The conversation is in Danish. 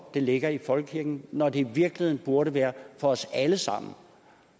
det ligger i folkekirken når det i virkeligheden burde være for os alle sammen